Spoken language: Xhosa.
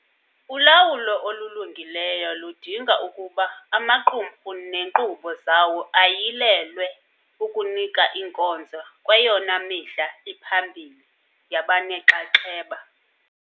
Ulawulo olulungileyo ludinga ukuba amaqumrhu neenkqubo zawo ayilelwe ukunika inkonzo kweyona midla iphambili yabanenxaxheba.